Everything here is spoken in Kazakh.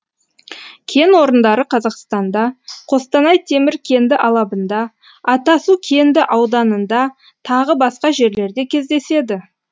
кен орындары қазақстанда қостанай темір кенді алабында атасу кенді ауданында тағы басқа жерлерде кездеседі